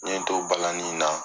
N ye n to balanin na